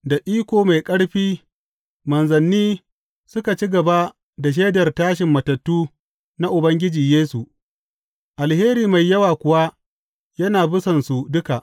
Da iko mai ƙarfi manzanni suka ci gaba da shaidar tashin matattu na Ubangiji Yesu, alheri mai yawa kuwa yana bisansu duka.